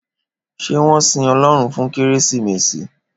Ṣé wón sin Ọlọ́run fún Kérésìmesì?